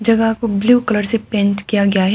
जगह को blue colour से पेंट किया गया है।